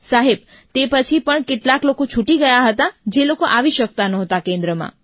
સાહેબ તે પછી પણ કેટલાક લોકો છૂટી ગયા હતા જે લોકો આવી શકતા નહોતા કેન્દ્રમાં